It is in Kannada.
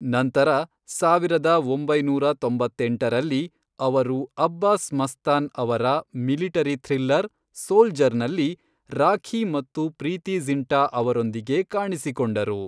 ನಂತರ ಸಾವಿರದ ಒಂಬೈನೂರ ತೊಂಬತ್ತೆಂಟರಲ್ಲಿ, ಅವರು ಅಬ್ಬಾಸ್ ಮಸ್ತಾನ್ ಅವರ ಮಿಲಿಟರಿ ಥ್ರಿಲ್ಲರ್ ಸೋಲ್ಜರ್ ನಲ್ಲಿ ರಾಖೀ ಮತ್ತು ಪ್ರೀತಿ ಜಿಂಟಾ ಅವರೊಂದಿಗೆ ಕಾಣಿಸಿಕೊಂಡರು.